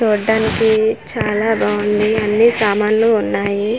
చూడ్డానికి చాలా బాగుంది అన్నీ సామాన్లు ఉన్నాయి.